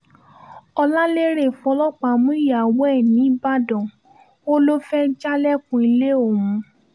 ọ̀làlérè fọlọ́pàá mú ìyàwó ẹ̀ nìbàdàn ó lọ fee jálẹ̀kùn ilé òun